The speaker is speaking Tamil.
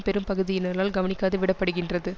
பெரும் பகுதியினரல் கவனிக்காது விடப்படுகின்றது